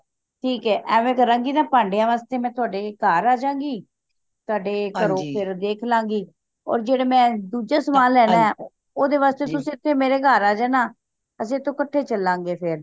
ਠੀਕ ਏ ਐਵੇਂ ਕਰਾਂ ਗੇ ਨਾ ਭਾਂਡਿਆਂ ਵਾਸਤੇ ਮੈਂ ਤੁਹਾਡੇ ਘਰ ਆਜਾ ਗੀ ਤੁਹਾਡੇ ਘਰੋਂ ਫੇਰ ਦੇਖ ਲਾਂਗੀ ਹੋਰ ਜਿਹੜੇ ਮੈਂ ਦੂੱਜੇ ਸਮਾਨ ਲੇਣਾ ਓਹਦੇ ਵਾਸਤੇ ਤੇ ਤੁਸੀ ਮੇਰੇ ਘਰ ਆ ਜਾਣਾ ਅੱਸੀ ਇਥੋਂ ਕੱਠੇ ਚਲਾਂ ਗਏ ਫੇਰ